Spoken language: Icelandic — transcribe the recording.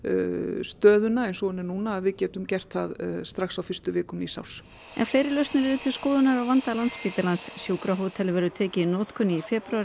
stöðuna eins og hún er núna að við getum gert það strax á fyrstu vikum nýs árs en fleiri lausnir eru til skoðunar á vanda Landspítalans sjúkrahótel verður tekið í notkun í febrúar